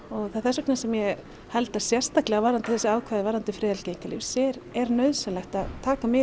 það er þess vegna sem ég held að sérstaklega varðandi þessi ákvæði varðandi friðhelgi einkalífsins er nauðsynlegt að taka mið